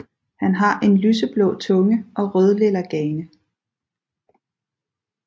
Han har en lyseblå tunge og rødlilla gane